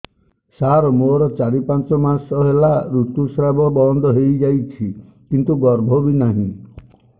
ସାର ମୋର ଚାରି ପାଞ୍ଚ ମାସ ହେଲା ଋତୁସ୍ରାବ ବନ୍ଦ ହେଇଯାଇଛି କିନ୍ତୁ ଗର୍ଭ ବି ନାହିଁ